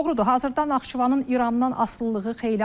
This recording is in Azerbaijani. Doğrudur, hazırda Naxçıvanın İrandan asılılığı xeyli azalıb.